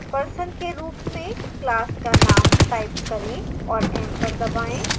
person के रूप में class का name type करें और enter दबाएँ